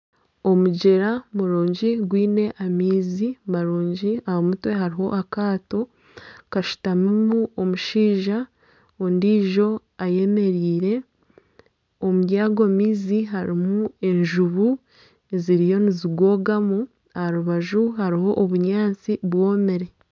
Omugyera murungi gwine amaizi marungi aha mutwe hariho akaato kashutamimu omushaija ondiijo ayemereire omuri ago maizi harimu enjubu ziriyo nizigogamu aha rubaju hariho obunyaatsi bwomire.